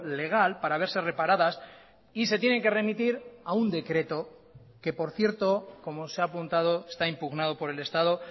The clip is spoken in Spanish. legal para verse reparadas y se tienen que remitir a un decreto que por cierto como se ha apuntado estáimpugnado por el estado